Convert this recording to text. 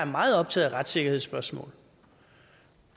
meget optaget af retssikkerhedsspørgsmål